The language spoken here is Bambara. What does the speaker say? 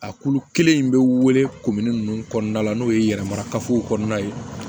A kulu kelen in bɛ wele kominini nunnu kɔnɔna la n'o ye yɛrɛmarafow kɔnɔna ye